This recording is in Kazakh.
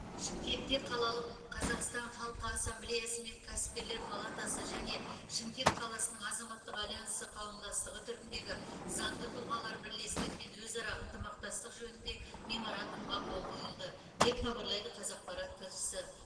шымкентте қалалық қазақстан халқы ассамблеясы мен кәсіпкерлер палатасы және шымкент қаласының азаматтық альянсы қауымдастығы түріндегі заңды тұлғалар бірлестігімен өзара ынтымақтастық жөнінде меморандумға қол қойылды деп хабарлайды қазақпарат тілшісі